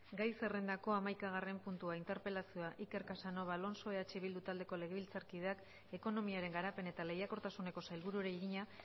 gai zerrendako hamaikagarren puntua interpelazioa iker casanova alonso eh bildu taldeko legebiltzarkideak ekonomiaren garapen eta lehiakortasuneko sailburuari egina